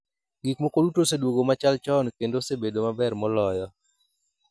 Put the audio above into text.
Gik moko duto oseduogo machal chon kendo osebedo maber moloyo.